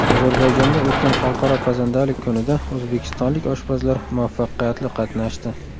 Ozarbayjonda o‘tgan xalqaro pazandalik kunida o‘zbekistonlik oshpazlar muvaffaqiyatli qatnashdi.